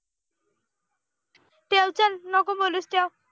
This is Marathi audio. नको बोलूस ठेव